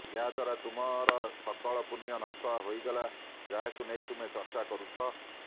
ଏହାଦ୍ବାରା ତୁମର ସକଳ ପୁଣ୍ୟ ନଷ୍ଟ ହୋଇଗଲା ଯାହାକୁ ନେଇ ତୁମେ ଚର୍ଚ୍ଚା କରୁଛ